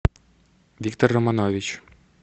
виктор романович